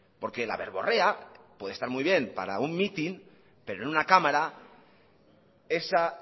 porque la verborrea puede estar muy bien para un mitin pero en una cámara esa